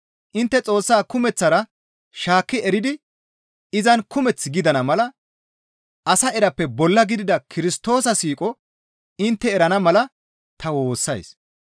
Intte Xoossaa kumeththara shaakki eridi izan kumeth gidana mala asa erappe bolla gidida Kirstoosa siiqo intte erana mala ta woossays.